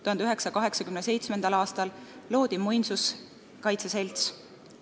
1987. aastal loodi Eesti Muinsuskaitse Selts.